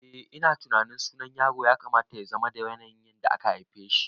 Eh ina tunanin sunan yaro ya kamata yazama da yanayin da aka haifeshi